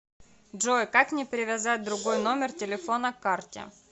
джой как мне привязать другой номер телефона к карте